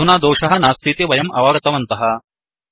अधुना दोषः नास्तीति वयं अवगतवन्तः